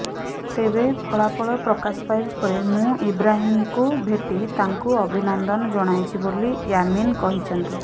ତେବେ ଫଳାଫଳ ପ୍ରକାଶ ପାଇବା ପରେ ମୁଁ ଇବ୍ରାହିମ୍ଙ୍କୁ ଭେଟି ତାଙ୍କୁ ଅଭିନନ୍ଦନ ଜଣାଇଛି ବୋଲି ୟାମିନ୍ କହିଛନ୍ତି